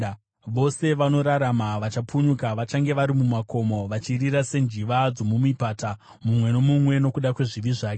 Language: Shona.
Vose vanorarama vachapunyuka vachange vari mumakomo, vachirira senjiva dzomumipata, mumwe nomumwe nokuda kwezvivi zvake.